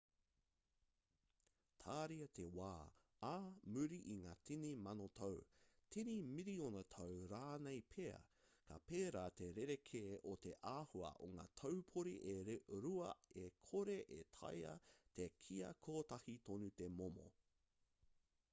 tāria te wā ā muri i ngā tini mano tau tini miriona tau rānei pea ka pērā te rerekē o te āhua o ngā taupori e rua e kore e taea te kīia kotahi tonu te momo